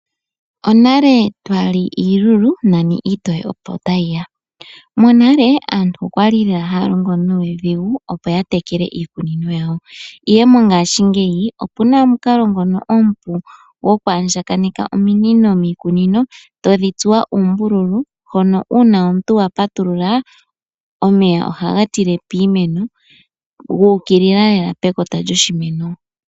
Onale twa li iilulu nani iitoye opo ta yi ya. Monale aantu okwali lela haya longo nuudhigu, opo ya tekele iikunino yawo, ihe mongaashingeyi opuna omukalo ngono omupu gokwaandjakaneka ominino miikunino tadhi tsuwa uumbululu hono uuna omuntu wa patulula, omeya ohaga tile piimeno gu ukilila lela pekota lyoshimeno.